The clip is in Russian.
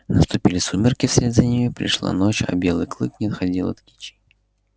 наступили сумерки вслед за ними пришла ночь а белый клык не отходил от кичи